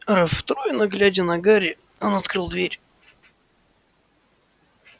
расстроенно глядя на гарри он открыл дверь